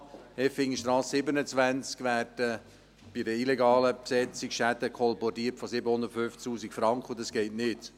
An der Effingerstrasse 27 werden bei einer illegalen Besetzung Schäden von 750 000 Franken kolportiert, und das geht nicht.